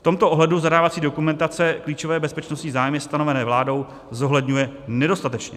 V tomto ohledu zadávací dokumentace klíčové bezpečnostní zájmy stanovené vládou zohledňuje nedostatečně.